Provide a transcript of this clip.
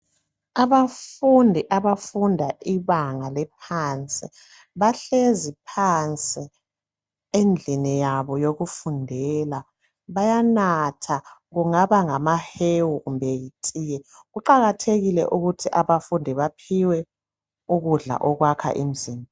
Abafundi abafunda ibanga lephansi bahlezi phansi endlini yabo yokufundela bayanatha kungaba ngamahewu kumbe yitiye kuqakathekile ukuthi abafundi baphiwe ukudla okwakha imizimba.